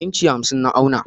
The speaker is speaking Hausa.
inci hamsin na auna.